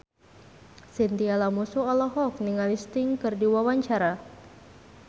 Chintya Lamusu olohok ningali Sting keur diwawancara